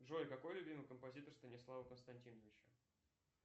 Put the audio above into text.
джой какой любимый композитор станислава константиновича